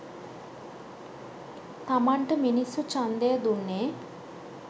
තමන්ට මිනිස්සු ඡන්දය දුන්නේ